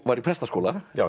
var í prestaskóla